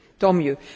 Tant mieux!